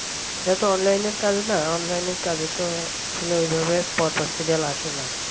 এত online র কাজ না online র কাজ ত আসলে এইভাবে পরপর serial আসে না